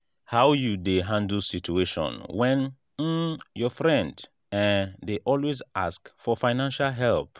how you dey handle situation when um your friend um dey always ask for fiancial help?